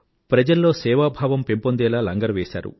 ప్రజల్లో సేవా భావం పెంపొందేలా లంగరు వేసారు